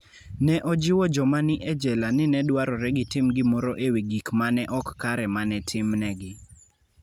Ne ojiwo joma ne ni e jela ni ne dwarore gitim gimoro e wi gik ma ne ok kare ma ne timnegi.